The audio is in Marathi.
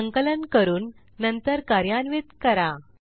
संकलन करून नंतर कार्यान्वित करा